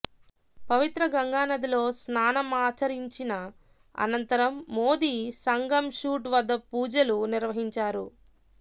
పవిత్ర గంగానదిలో స్నానమాచరించిన అనంతరం మోది సంగం ఘాట్ వద్ద పూజలు నిర్వహించారు